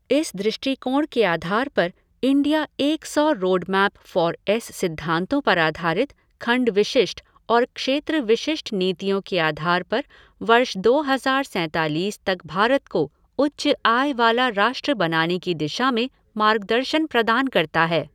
इस दृष्टिकोण के आधार पर इंडिया एक सौ रोडमैप फोर एस सिद्धांतों पर आधारित खंड विशिष्ट और क्षेत्र विशिष्ट नीतियों के आधार पर वर्ष दो हज़ार सैंतालीस तक भारत को उच्च आय वाला राष्ट्र बनाने की दिशा में मार्गदर्शन प्रदान करता है।